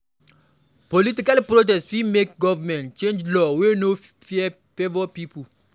Political protest go fit make government change law wey no favor pipo